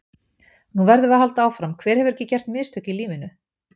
Núna verðum við að halda áfram, hver hefur ekki gert mistök í lífinu?